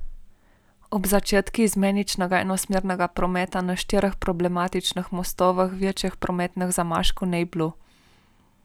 Ob začetku izmeničnega enosmernega prometa na štirih problematičnih mostovih večjih prometnih zamaškov ni bilo.